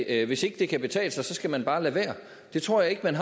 at hvis ikke det kan betale sig skal man bare lade være det tror jeg ikke man